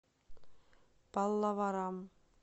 паллаварам